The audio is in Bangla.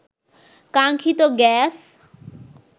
কাঙ্ক্ষিত গ্যাস